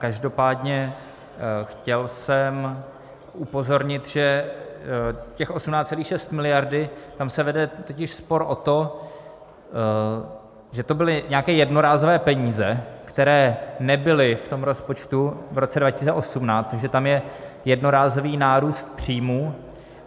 Každopádně chtěl jsem upozornit, že těch 18,6 miliardy, tam se vede totiž spor o to, že to byly nějaké jednorázové peníze, které nebyly v rozpočtu v roce 2018, takže tam je jednorázový nárůst příjmů.